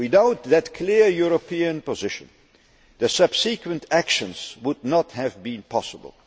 Without that clear European position, the subsequent actions would not have been possible.